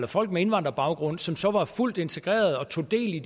folk med indvandrerbaggrund som så var fuldt integreret og tog del i